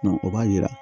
o b'a yira